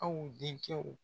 Aw den kɛw